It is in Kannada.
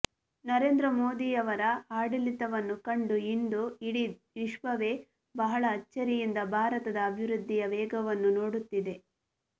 ನರೇಂದ್ರ ಮೋದಿಯವರ ಆಡಳಿತವನ್ನು ಕಂಡು ಇಂದು ಇಡೀ ವಿಶ್ವವೇ ಬಹಳ ಅಚ್ಚರಿಯಿಂದ ಭಾರತದ ಅಭಿವೃದ್ಧಿಯ ವೇಗವನ್ನು ನೋಡುತ್ತಿದೆ